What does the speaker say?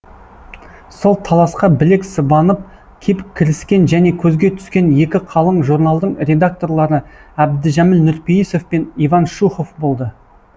сол таласқа білек сыбанып кеп кіріскен және көзге түскен екі қалың журналдың редакторлары әбдіжәміл нұрпейісов пен иван шухов болды